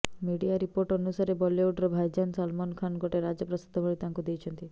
media report ଅନୁସାରେ ବଲିଓଡର ଭାଇଜାନ ସଲମାନ ଖାନ ଗୋଟେ ରାଜପ୍ରସାଦ ଭଳି ତାଙ୍କୁ ଦେଇଛନ୍ତି